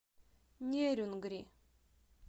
нерюнгри